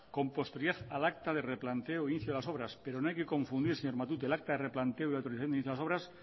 con posterioridad al acta de replanteo de inicio de las obras pero no hay que confundir señor matute el acta que planteó el inicio de las obras